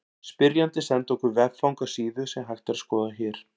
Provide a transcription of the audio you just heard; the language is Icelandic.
Spyrjandi sendi okkur veffang á síðu sem hægt er að skoða hér.